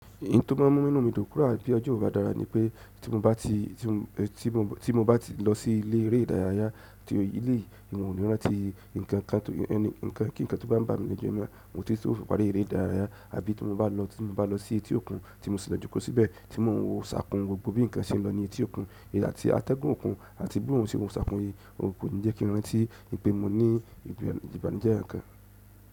Ǹtó má a mú nínú mi dùn kúrà bí ọjọ́ bá dára ni pé tí mo bá ti, tí mo bá ti lọ sí ilé eré ìdárayá tí èyí yìí mi ò ní rántí nǹkan kan tó yẹ ní, nǹkan kí nǹkan tó bá ń bà mí lẹ́jọ́ náà mo ti yóò pàrí eré ìdárayá àbí tí mo bá lọ, tí mo bá lọ sí etí òkun tí mo sì lọ jókòó síbẹ̀ tí mo ń wo ṣàkun gbogbo bí nǹkan ṣe ń lọ ní etí òkun èyí láti atẹ́gùn òkun àti bí òhun ṣe ń ṣàkun èyí, ó kò ní jẹ́ kí o rántí pé mo ní ìbànújẹ́ kankan.